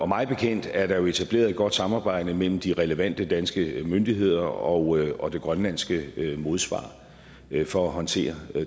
mig bekendt er der etableret et godt samarbejde mellem de relevante danske myndigheder og og det grønlandske modsvar for at håndtere